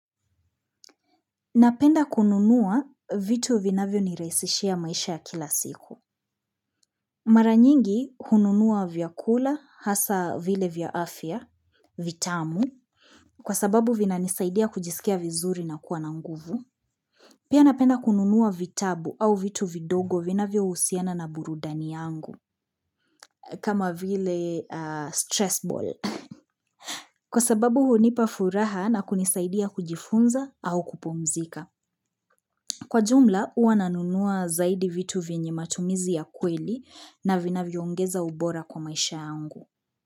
Napenda kununua vitu vinavyonirahisishia maisha ya kila siku. Mara nyingi hununua vyakula, hasa vile vya afya, vitamu, kwa sababu vinanisaidia kujisikia vizuri na kuwa na nguvu. Pia napenda kununua vitabu au vitu vidogo vinavyohusiana na burudani yangu, kama vile stress ball. Kwa sababu hunipa furaha na kunisaidia kujifunza au kupumzika. Kwa jumla, huwa nanunua zaidi vitu vyenye matumizi ya kweli na vinavyoongeza ubora kwa maisha yangu.